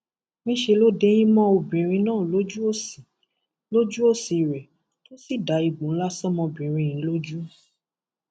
níṣẹ ló dẹyìn mọ obìnrin náà lójú òsì lójú òsì rẹ tó sì da ègbò ńlá ṣọmọbìnrin yìí lójú